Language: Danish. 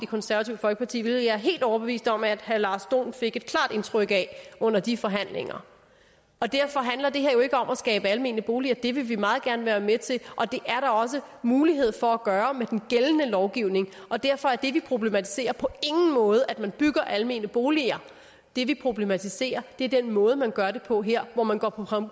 konservative folkeparti hvilket jeg er helt overbevist om at herre lars dohn fik et klart indtryk af under de forhandlinger derfor handler det her jo ikke om at skabe almene boliger det vil vi meget gerne være med til og det er der også mulighed for at gøre med den gældende lovgivning derfor er det vi problematiserer på ingen måde at man bygger almene boliger det vi problematiserer er den måde man gør det på her hvor man går på